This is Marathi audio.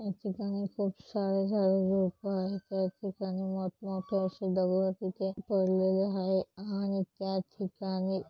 या ठिकाणी खुप सार झाड़ झुडप आहेत या ठिकाणी मोठ-मोठे आशे दगड तिथे पडले हायेत आणि त्या ठिकाणी--